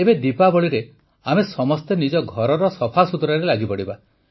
ଏବେ ଦୀପାବଳିରେ ଆମେ ସମସ୍ତେ ନିଜ ଘରର ସଫାସୁତୁରାରେ ଲାଗିପଡ଼ିବା